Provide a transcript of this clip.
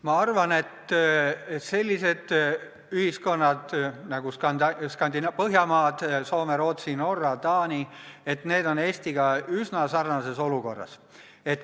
Ma arvan, et sellised ühiskonnad nagu Põhjamaad – Soome, Rootsi, Norra, Taani – on Eestiga üsna sarnases olukorras.